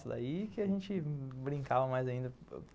Daí que a gente brincava mais ainda.